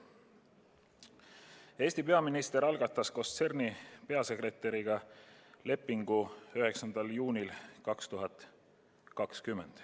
Eesti peaminister allkirjastas koos CERN-i peadirektoriga lepingu 19. juunil 2020.